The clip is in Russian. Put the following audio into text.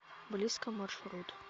близко маршрут